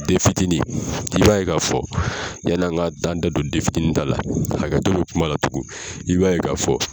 Denfitiinin i b'a ye k'a fɔ, yan'an ka da don dentinin ta la hakɛto bɛ kuma la tugun i b'a ye k'a fɔ